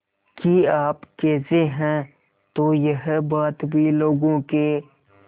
कि आप कैसे हैं तो यह बात भी लोगों के